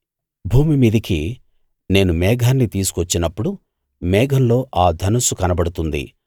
భూమిమీదికి నేను మేఘాన్ని తీసుకొచ్చినప్పుడు మేఘంలో ఆ ధనుస్సు కనబడుతుంది